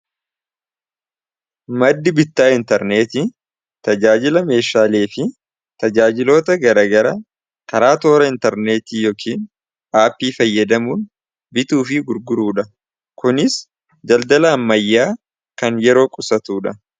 Maddi bittaa intarneeti tajaajila meeshaalee fi tajaajiloota garagara karaa toora intarneetii yookiin aapii fayyadamuun bituu fi gurguruu dha kuniis daldala ammayyaa kan yeroo qusatuudha.